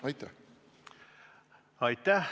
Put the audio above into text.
Aitäh!